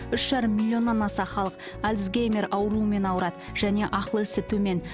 үш жарым миллионнан аса халық альцгеймер ауруымен ауырады және ақыл есі төмен